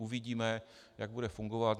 Uvidíme, jak bude fungovat.